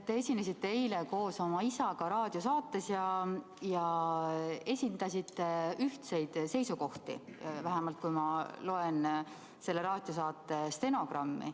Te esinesite eile koos oma isaga raadiosaates ja esitasite ühtseid seisukohti, vähemalt nii ma loen selle raadiosaate stenogrammist.